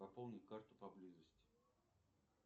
пополнить карту поблизости